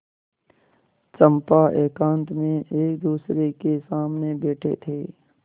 चंपा एकांत में एकदूसरे के सामने बैठे थे